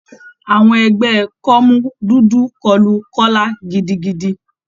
Àwọn ẹgbẹ́ kọ́mú dúdú kọlu Kọla gidigidi.